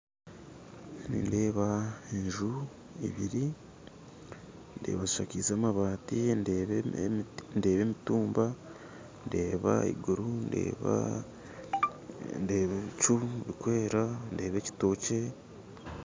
Nindeeba enju ibiri ndeeba zishakize amabaati, ndeeba emitumba, ndeeba iguru, ndeeba ebicu birikwera, ndeeba ekitookye.